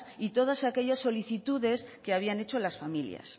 y todas aquellas solicitudes que habían hecho las familias